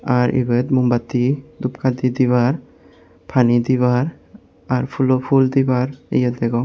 r ibet moom batti dhup kati dibar pani dibar r fhool dibar yea degong.